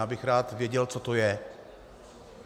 Já bych rád věděl, co to je.